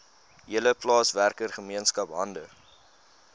hele plaaswerkergemeenskap hande